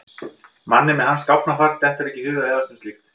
Manni með hans gáfnafar dettur ekki í hug að efast um slíkt.